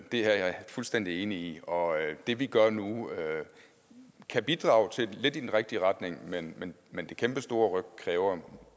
det er jeg fuldstændig enig i og det vi gør nu kan bidrage til at lidt i den rigtige retning men men det kæmpestore ryk kræver